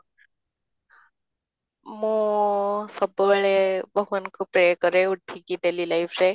ମୁଁ ସବୁବେଳେ ଭଗବାନଙ୍କୁ pray କରେ ଉଠିକି daily life ରେ